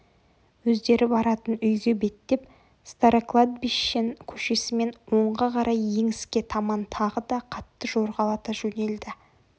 өздері баратын үйге беттеп старокладбищен көшесімен оңға қарай еңіске таман тағы да қатты жорғалата жөнелді